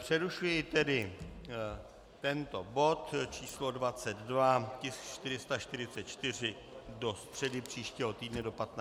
Přerušuji tedy tento bod číslo 22, tisk 444, do středy příštího týdne do 15 hodin.